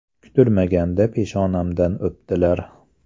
Kutilmaganda peshonamdan o‘pdilar.